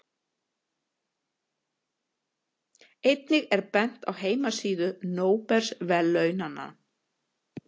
Einnig er bent á heimasíðu Nóbelsverðlaunanna.